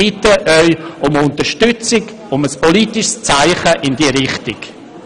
Ich bitte Sie um Unterstützung, um ein politisches Zeichen in diese Richtung.